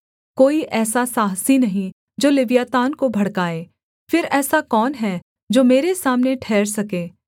कोई ऐसा साहसी नहीं जो लिव्यातान को भड़काए फिर ऐसा कौन है जो मेरे सामने ठहर सके